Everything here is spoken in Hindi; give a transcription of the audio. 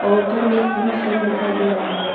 और ऊपर में तीन फैन दिखाई दे रहा है।